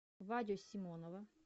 вадю симонова